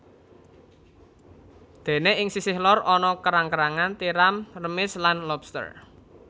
Dene ing sisih lor ana kerang kerangan tiram remis lan lobster